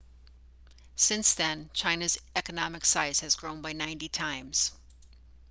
since then china's economic size has grown by 90 times